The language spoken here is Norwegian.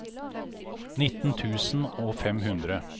nitten tusen og fem hundre